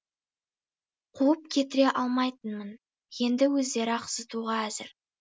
қуып кетіре алмайтынмын енді өздері ақ зытуға әзір